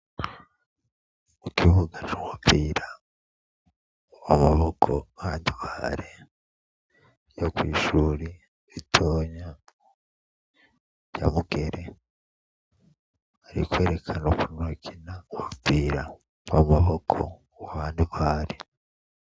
Ikibuga c'umupira w'amaboko wa handball co kw'ishuri ritonya rya Mugere ari kwerekana ukuntu bakina umupira w'amaboko wa handball